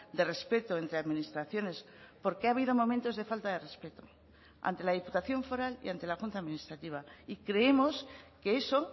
de respeto entre administraciones porque ha habido momentos de falta de respeto ante la diputación foral y ante la junta administrativa y creemos que eso